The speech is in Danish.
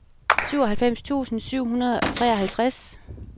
syvoghalvfems tusind syv hundrede og treoghalvtreds